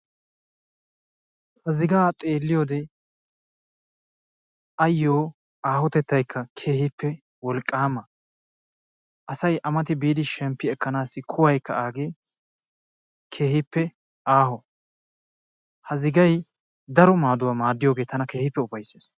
Ha zigaa xeelliyode ayyo aahotettaykka keehippe wolqqaama. Asay A mati biidi shemppi ekkanaassi kuwaykka aagee keehippe aaho. Ha zigay daro maaduwa maaddiyoge tana keehippe ufayissees.